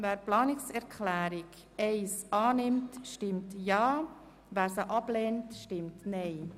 Wer diese annimmt, stimmt Ja, wer diese ablehnt, stimmt Nein.